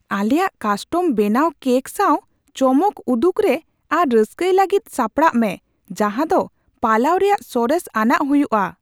ᱟᱞᱮᱭᱟᱜ ᱠᱟᱥᱴᱚᱢ ᱵᱮᱱᱟᱣ ᱠᱮᱠ ᱥᱟᱶ ᱪᱚᱢᱚᱠ ᱩᱫᱩᱜ ᱨᱮ ᱟᱨ ᱨᱟᱹᱥᱠᱟᱹᱭ ᱞᱟᱹᱜᱤᱫ ᱥᱟᱯᱲᱟᱜ ᱢᱮ ᱡᱟᱦᱟ ᱫᱚ ᱯᱟᱞᱟᱣ ᱨᱮᱭᱟᱜ ᱥᱚᱨᱮᱥ ᱟᱱᱟᱜ ᱦᱩᱭᱩᱜᱼᱟ ᱾